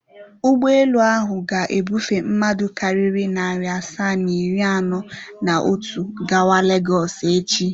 Ụgbọelu ahụ ga-ebufe mmadụ karịrị narị asaa na iri anọ na otu gawa Legọs echi.